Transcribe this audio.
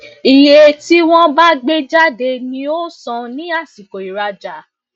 iye tí wọn bá gbe jáde ni o san ní àsìko iraja